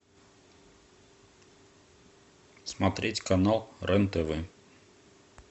смотреть канал рен тв